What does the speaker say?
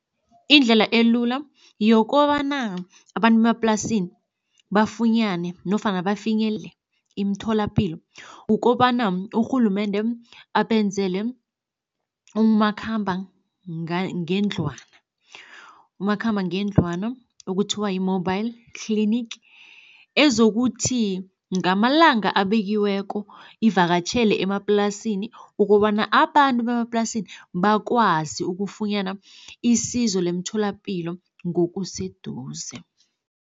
Indlela elula yokobana abantu bemaplasini bafunyane nofana bafinyelele imtholapilo, ukobana urhulumende abenzele umakhamba ngendlwana. Umakhamba ngendlwana okuthiwa yi-mobile clinic, ezokuthi ngamalanga abekiweko ivakatjhele emaplasini ukobana abantu bemaplasini bakwazi ukufunyana isizo lemtholapilo ngokuseduze.